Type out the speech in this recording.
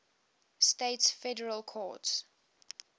states federal courts